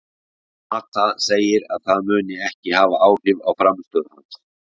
Mata segir að það muni ekki hafa áhrif á frammistöðu hans.